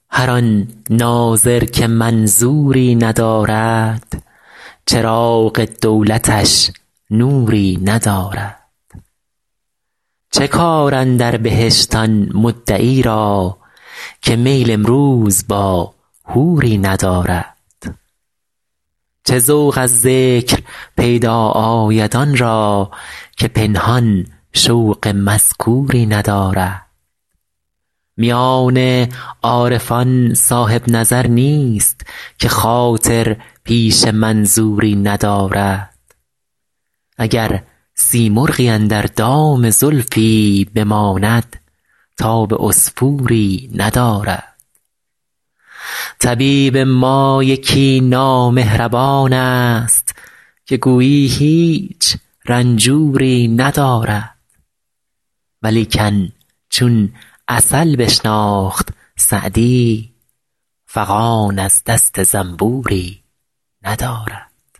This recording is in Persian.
هر آن ناظر که منظوری ندارد چراغ دولتش نوری ندارد چه کار اندر بهشت آن مدعی را که میل امروز با حوری ندارد چه ذوق از ذکر پیدا آید آن را که پنهان شوق مذکوری ندارد میان عارفان صاحب نظر نیست که خاطر پیش منظوری ندارد اگر سیمرغی اندر دام زلفی بماند تاب عصفوری ندارد طبیب ما یکی نامهربان ست که گویی هیچ رنجوری ندارد ولیکن چون عسل بشناخت سعدی فغان از دست زنبوری ندارد